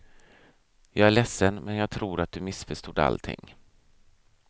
Jag är ledsen, men jag tror att du missförstod allting.